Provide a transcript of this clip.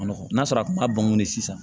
Nɔgɔn n'a sɔrɔ a kun ma bɔngɔn de san